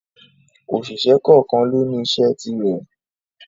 Òṣìṣẹ́ kọ́ọ̀kan lóní iṣẹ́ ti rẹ̀.